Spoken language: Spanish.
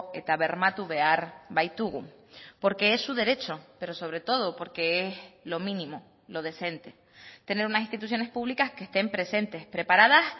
eta bermatu behar baitugu porque es su derecho pero sobretodo porque es lo mínimo lo decente tener unas instituciones públicas que estén presentes preparadas